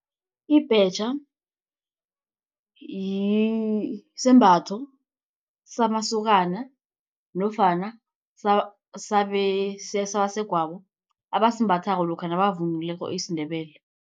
Ibhetjha sisembatho samasokana nofana sabasegwabo abasimbathako lokha nabavunulileko isiNdebele.